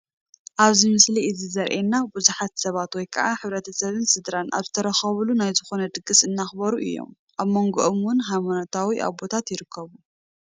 ኣብዚ ምስሊ እዚ ዘሪኤና ቡዙሓት ሰባት ወይ ከዓ ሕብረተሰብን ስድራ ኣብዝተረኸብሉ ናይ ዝኾነ ድግስ እናኽበሩ እዮም፡፡ ኣብ መንጎኦም ውን ሃይማኖታዊ ኣቦታት ይርከብዎም፡፡